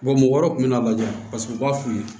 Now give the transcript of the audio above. mɔgɔ wɛrɛw kun bɛ n'a lajɛ paseke u b'a f'u ye